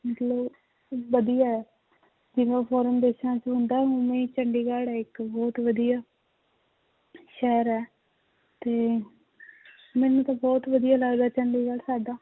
ਮਤਲਬ ਵਧੀਆ ਹੈ ਜਿਵੇਂ foreign ਦੇਸਾਂ 'ਚ ਹੁੰਦਾ ਹੈ ਉਵੇਂ ਹੀ ਚੰਡੀਗੜ੍ਹ ਹੈ ਇੱਕ ਬਹੁਤ ਵਧੀਆ ਸ਼ਹਿਰ ਹੈ ਤੇ ਮੈਨੂੰ ਤਾਂ ਬਹੁਤ ਵਧੀਆ ਲੱਗਦਾ ਚੰਡੀਗੜ੍ਹ ਸਾਡਾ